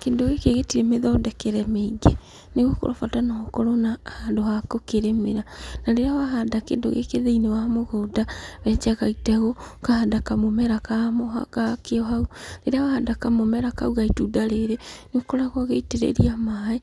Kĩndũ gĩkĩ gĩtirĩ mĩthondekere mĩingĩ, nĩgũkorwo bata no ũkorwo na handũ ha gũkĩrĩmĩra. Na rĩrĩa wahanda kĩndũ gĩkĩ thĩiniĩ wa mũgũnda, wenjaga itegũ, ũkahanda kamũmera ka mũ gakĩo hau. Rĩrĩa wahanda kamũmera kau ga itunda rĩrĩ, nĩũkoragwo ũgĩitĩrĩria maĩ